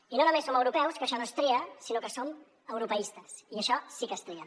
i no només som europeus que això no és tria sinó que som europeistes i això sí que és tria